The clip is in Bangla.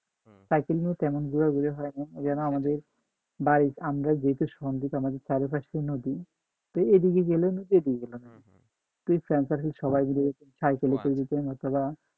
সাইকেল নিয়ে তেমন ঘুরাঘুরি হয় না যেন আমাদের ভাই আমরা দিতাম আমাদের চারিপাশে নদী এদিকে গেলেও নদী এদিকে গেলেও নদী ফ্রেন্ডসার্কেল সবাই মিলে যেতাম সাইকেলে করে যেতাম সবাই